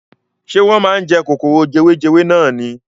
Ṣé wọ́n máa ń jẹ kòkòrò jewejewe nani.